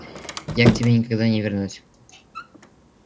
я к тебе никогда не вернусь